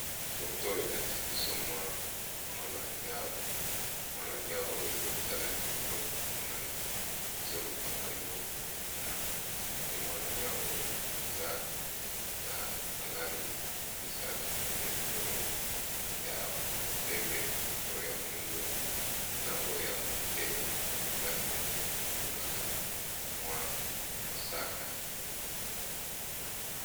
Foto elakisi biso mwa mwana nyau mwana nyau oyo ezotala likolo emonani ezoluka mwa eloko kuna pe mwana nyau oyo eza na balangi misato na moni oyo ya pembe oyo ya moindo na oyo ya moke eza neti ekoki kozala mwa mosaka.